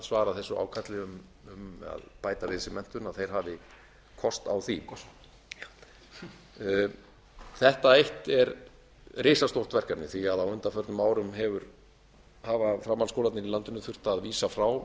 svara þessu ákalli um að átt við sig menntun hafi kost á því þetta eitt er risastórt verkefni því að á undanförnum árum hafa framhaldsskólarnir í landinu þurft að vísa frá